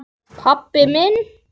Pabbi minn?